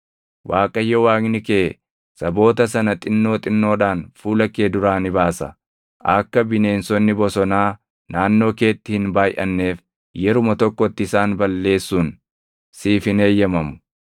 Waaqayyo Waaqni kee saboota sana xinnoo xinnoodhaan fuula kee duraa ni baasa; akka bineensonni bosonaa naannoo keetti hin baayʼanneef yeruma tokkotti isaan balleesuun siif hin eeyyamamu.